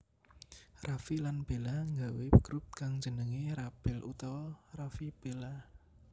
Raffi lan Bella nggawé grup kang jenengé RaBel utawa Raffi Bella